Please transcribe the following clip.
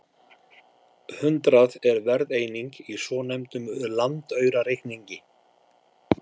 Hundrað er verðeining í svonefndum landaurareikningi.